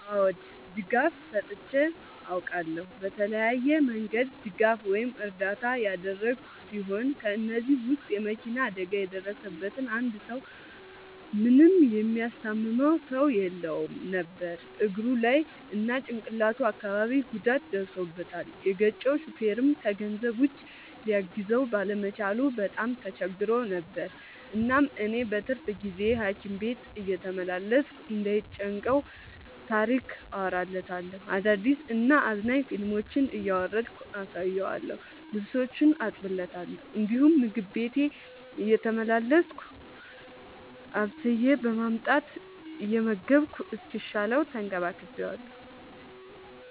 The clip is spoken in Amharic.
አዎ ድጋፍ ሰጥቼ አውቃለሁ። በተለያየ መንገድ ድጋፍ ወይም እርዳታ ያደረግሁ ሲሆን ከ እነዚህም ውስጥ የ መኪና አደጋ የደረሠበትን አንድ ሰው ምንም የሚያስታምመው ሰው የለውም ነበር እግሩ ላይ እና ጭቅላቱ አካባቢ ጉዳት ደርሶበታል። የገጨው ሹፌርም ከገንዘብ ውጪ ሊያግዘው ባለመቻሉ በጣም ተቸግሮ ነበር። እናም እኔ በትርፍ ጊዜዬ ሀኪም ቤት እየተመላለስኩ እንዳይ ጨንቀው ታሪክ አወራለታለሁ፤ አዳዲስ እና አዝናኝ ፊልሞችን እያወረድኩ አሳየዋለሁ። ልብሶቹን አጥብለታለሁ እንዲሁም ምግብ ቤቴ እየተመላለስኩ አብስዬ በማምጣት እየመገብኩ እስኪሻለው ተንከባክቤዋለሁ።